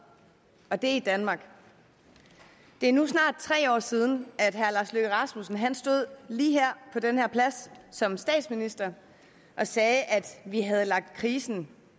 og det er i danmark det er nu snart tre år siden at herre lars løkke rasmussen stod lige her på den her plads som statsminister og sagde at vi havde lagt krisen